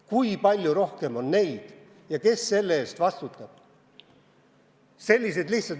Kui palju rohkem on neid ja kes selle eest vastutab?